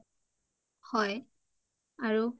হয় আৰু